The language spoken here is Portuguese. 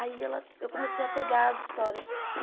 Aí ela eu comecei a pegar as histórias.